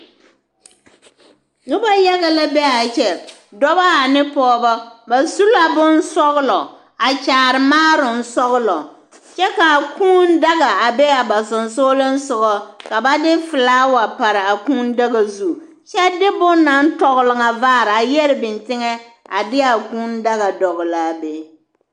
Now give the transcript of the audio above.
Noba yaga la be a kyɛ dɔba ane pɔgeba ba su la bonsɔglɔ a kyaare maaaroŋsɔglɔ kyɛ ka a kuu daga be a ba sensogleŋ soga ka ba de filaawa pare a kuu daga zu kyɛ de bonne naŋ tɔgle ŋa vaare a yɛre biŋ teŋɛ a de a kuu daga dɔgle a be.